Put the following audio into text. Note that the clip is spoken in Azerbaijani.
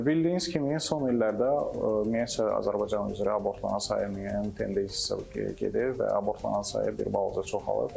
Bildiyiniz kimi, son illərdə ümumiyyətcə Azərbaycan üzrə abortların sayı meyilli gedir və abortlanan sayı bir balaca çoxalıb.